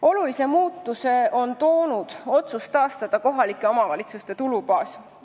Olulise muutuse on toonud otsus taastada kohalike omavalitsuste tulubaas.